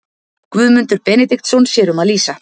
Guðmundur Benediktsson sér um að lýsa.